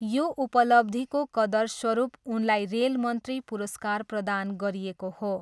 यो उपलब्धिको कदरस्वरूप उनलाई रेल मन्त्री पुरस्कार प्रदान गरिएको हो।